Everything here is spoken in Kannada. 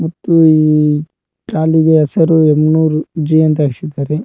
ಮತ್ತು ಈ ಟ್ರಾಲಿಗೆ ಹೆಸರು ಯಮನುರು ಜಿ ಅಂತ ಹಾಕ್ಸಿದ್ದಾರೆ.